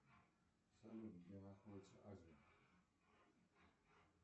салют где находится азия